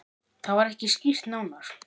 Það var ekki skýrt nánar.